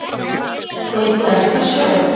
Þeir drekka sjó.